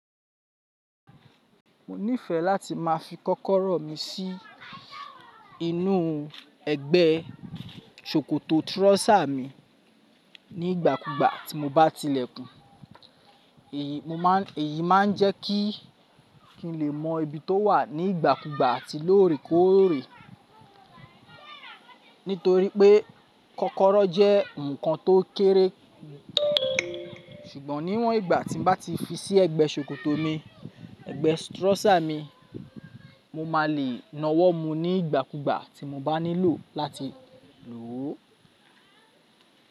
Mo nífẹ̀ẹ́ láti má a fi kọ́kọ́rọ́ mi sí inú ẹgbẹ́ ṣòkòtò trọ́sà mi ní ìgbàkúgbà tí mo bá tilẹ̀ kún. Èyí máa ń jẹ́ kí n lè mọ ibi tó wà ní ìgbàkúgbà àti lóòrèkóòrè. Nítorí pé kọ́kọ́rọ́ jẹ́ nǹkan tó kéré. Ṣùgbọ́n níwọ́n ìgbà tí n bá ti fi sí ẹgbẹ́ ṣòkòtò mi, ẹgbẹ́ trọ́sà mi, mo má a lè nawọ́ mu ní ìgbàkúgbà tí mo bá nílò láti lò ó.